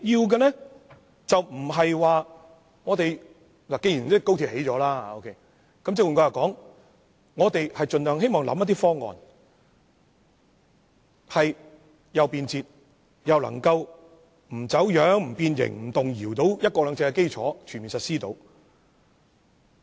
既然高鐵正在興建，我們便希望盡量提供一個既便捷又不走樣、不變形、不動搖的"一國兩制"基礎，並全面實施。